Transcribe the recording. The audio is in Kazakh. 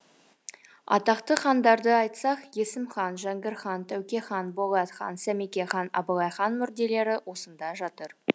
атақты хандарды айтсақ есім хан жәңгір хан тәуке хан болат хан сәмеке хан абылай хан мүрделері осында жатыр